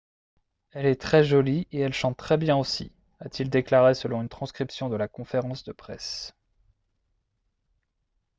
« elle est très jolie et elle chante très bien aussi » a-t-il déclaré selon une transcription de la conférence de presse